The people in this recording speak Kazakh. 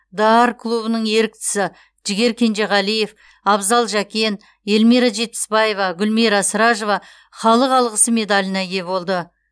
д а р клубының еріктісі жігер кенжеғалиев абзал жакен элмира жетпісбаева гүлмира сражова халық алғысы медаліне ие болды